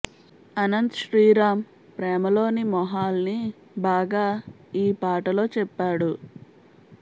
అనంత్ శ్రీ రామ్ ప్రేమలోని మొహాల్ని బాగా ఈ పాటలో చెప్పాడు